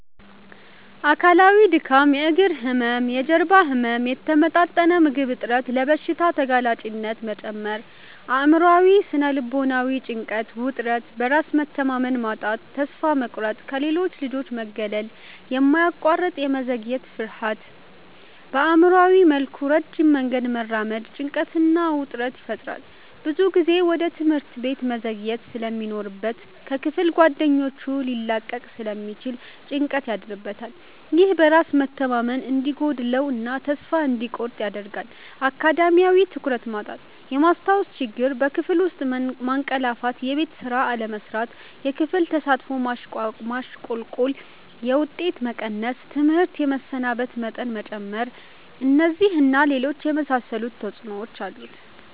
አካላዊ:-ድካም፣ የእግር ህመም፣ የጀርባ ህመም፣ የተመጣጠነ ምግብ እጥረት፣ ለበሽታ ተጋላጭነት መጨመር። አእምሯዊ / ስነ-ልቦናዊ:-ጭንቀት፣ ውጥረት፣ በራስ መተማመን ማጣት፣ ተስፋ መቁረጥ፣ ከሌሎች ልጆች መገለል፣ የማያቋርጥ የመዘግየት ፍርሃት። በአእምሯዊ መልኩ ረጅም መንገድ መራመድ ጭንቀትና ውጥረት ይፈጥራል። ብዙ ጊዜ ወደ ትምህርት ቤት መዘግየት ስለሚኖርበት ከክፍል ጓደኞቹ ሊላቀቅ ስለሚችል ጭንቀት ያድርበታል። ይህ በራስ መተማመን እንዲጎድለው እና ተስፋ እንዲቆርጥ ያደርጋል። አካዳሚያዊ:-ትኩረት ማጣት፣ የማስታወስ ችግር፣ በክፍል ውስጥ ማንቀላፋትየቤት ስራ አለመስራት፣ የክፍል ተሳትፎ ማሽቆልቆል፣ የውጤት መቀነስ፣ ትምህርት የመሰናበት መጠን መጨመር። እነዚህን እና ሌሎች የመሳሰሉ ተጽዕኖዎች አሉት።